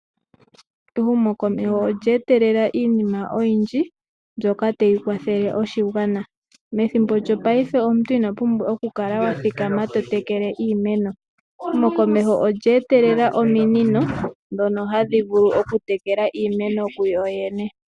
Ehumokomeho olya etelela iinima oyindji mbyoka tayi kwathele oshigwana. Methimbo lyongashingeyi omuntu ino pumbwa oku kala wa thikama to tekele iimeno. Ehumokomeho olya etelela ominino ndhoka hadhi vulu okutekela iimeno kuyo yene.